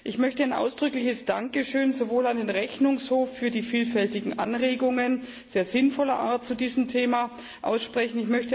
Ich möchte ein ausdrückliches Dankeschön sowohl an den Rechnungshof für die vielfältigen Anregungen sehr sinnvoller Art zu diesem Thema aussprechen.